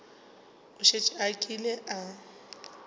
o šetše a kile a